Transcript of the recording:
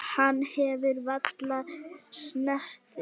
Hann hefur varla snert þig.